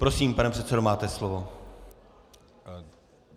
Prosím, pane předsedo, máte slovo.